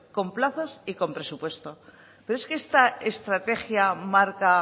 con plazos y con presupuestos pero es que esta estrategia marca